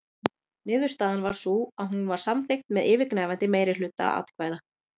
Niðurstaðan varð sú að hún var samþykkt með yfirgnæfandi meirihluta atkvæða.